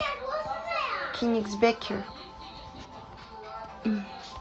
кенигсбэкер